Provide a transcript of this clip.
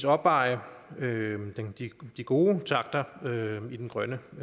opveje de gode takter i den grønne